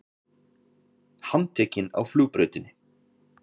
Handtekinn á flugbrautinni